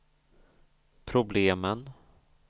problemen